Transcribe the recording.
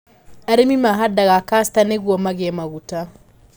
Arĩmi mahandaga castor nĩguo magĩe maguta.